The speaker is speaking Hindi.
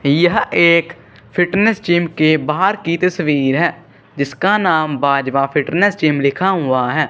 यह एक फिटनेस जिम के बाहर की तस्वीर हैं जिसका नाम बाजवा फिटनेस जिम लिखा हुआ हैं।